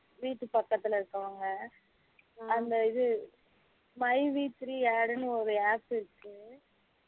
வீட்டு பக்கதுள இருக்குறவங்க அந்த இது my we three add ஒரு app இருக்கு